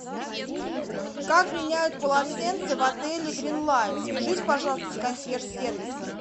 как меняют полотенца в отеле грин лайн свяжись пожалуйста с консьерж сервисом